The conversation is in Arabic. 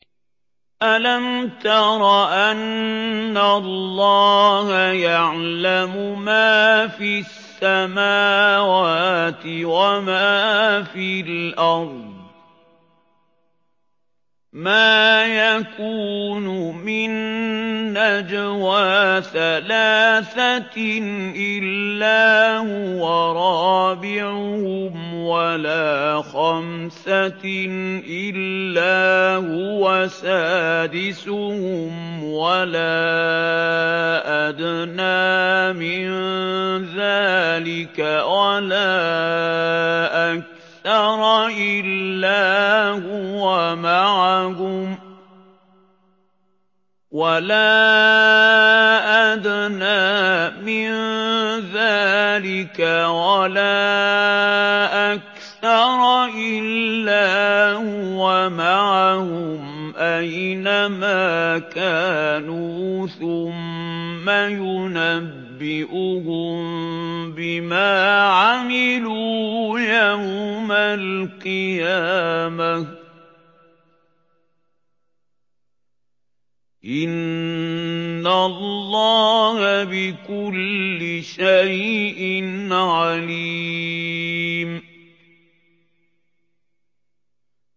أَلَمْ تَرَ أَنَّ اللَّهَ يَعْلَمُ مَا فِي السَّمَاوَاتِ وَمَا فِي الْأَرْضِ ۖ مَا يَكُونُ مِن نَّجْوَىٰ ثَلَاثَةٍ إِلَّا هُوَ رَابِعُهُمْ وَلَا خَمْسَةٍ إِلَّا هُوَ سَادِسُهُمْ وَلَا أَدْنَىٰ مِن ذَٰلِكَ وَلَا أَكْثَرَ إِلَّا هُوَ مَعَهُمْ أَيْنَ مَا كَانُوا ۖ ثُمَّ يُنَبِّئُهُم بِمَا عَمِلُوا يَوْمَ الْقِيَامَةِ ۚ إِنَّ اللَّهَ بِكُلِّ شَيْءٍ عَلِيمٌ